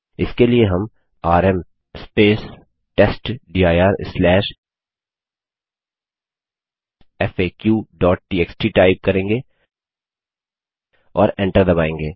इसके लिए हम आरएम testdirfaqटीएक्सटी टाइप करेंगे और एंटर दबायेंगे